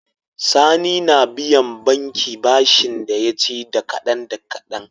Sani na biyan banki bashin da yaci da kadan da kadan